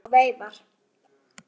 Þá flautar hann og veifar.